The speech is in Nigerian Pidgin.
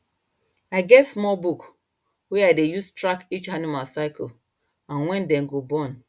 i get small book wey i dey use track each animal cycle and when dem go born